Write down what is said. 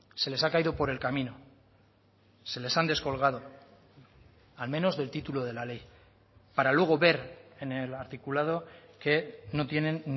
se les ha caído por el camino se les han descolgado al menos del título de la ley para luego ver en el articulado que no tienen